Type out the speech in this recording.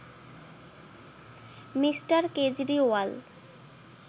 Me. Kejriwal